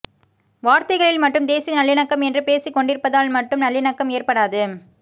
வார்த்தைகளில் மட்டும் தேசிய நல்லிணக்கம் என்று பேசிக் கொண்டிருப்பதால் மட்டும் நல்லிணக்கம் ஏற்படாது